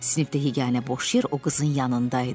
Sinifdə yeganə boş yer o qızın yanında idi.